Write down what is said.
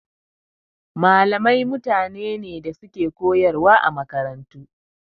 Malamai mutane ne da suke koyarwa a makarantu.